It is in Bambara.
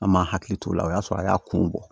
An m'an hakili t'o la o y'a sɔrɔ a y'a kun bɔ